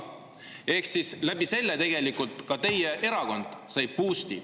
Sellest tulenevalt sai ka teie erakond boost'i.